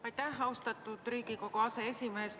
Aitäh, austatud Riigikogu aseesimees!